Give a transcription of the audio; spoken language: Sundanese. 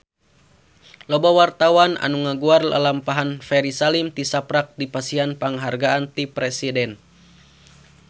Loba wartawan anu ngaguar lalampahan Ferry Salim tisaprak dipasihan panghargaan ti Presiden